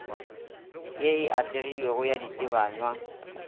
ye e atlegilego ya ditebanywa